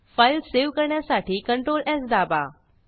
file save करण्यासाठी ctrls दाबा